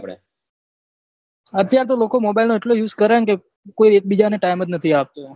અત્યાર તો લોકો mobile નોએટલો use કરે ને કે કોઈ એક બીજાને time જ નહી આપતું